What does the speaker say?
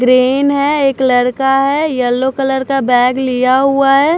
Green है एक लड़का है येलो कलर का बैग लिया हुआ है।